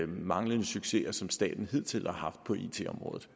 manglende succeser som staten hidtil har haft på it området